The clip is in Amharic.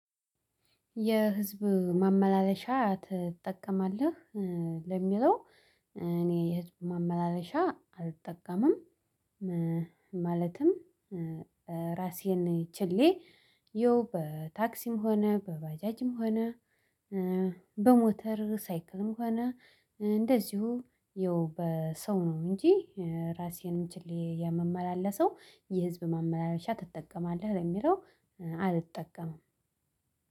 የህዝብ ማመላለሻ ትጠቀማለህ? ለሚለው እኔ የህዝብ ማመላለሻ አልጠቀምም። ማለትም ራሴን ችሌ ይሄው በታክሲም ሆነ በባጃጅም ሆነ በሞተር ሳይክልም ሆነ እንደዚሁ ይኸው በሰው ነው እንጂ ራሴንም ችሌ የመመላለሰው የህዝብ ማመላለሻ ትጠቀማለህ ለሚለው? አልጠቀምም።